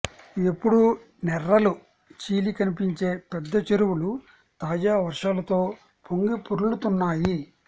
ఎప్పుడూ నెర్రలు చీలి కనిపించే పెద్ద చెరువులు తాజా వర్షాలతో పొంగిపొర్లుతున్నాయి